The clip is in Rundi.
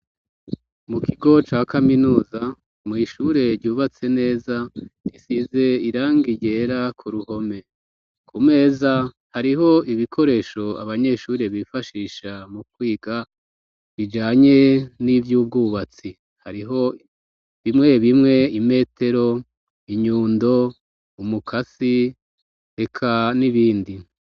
Mu kigo ca kaminuza mw'ishure ryubatse neza risize irangi ryera ku ruhome, ku meza hariho ibikoresho abanyeshuri bifashisha mu kwiga bijanye n'ivy'ubwubatsi. Hariho bimwe bimwe imetero, inyundo, umukasi, eka n'ibindi.